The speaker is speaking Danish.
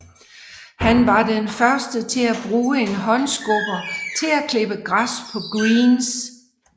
Han var den første til at bruge en håndskubber til at klippe græs på greens